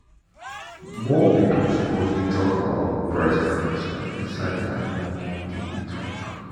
more people suppose dey talk about breast cancer inside their normal daily talk.